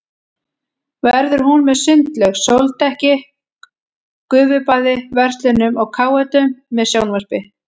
Verður hún með sundlaug, sóldekki, gufubaði, verslunum og káetum með sjónvarpi.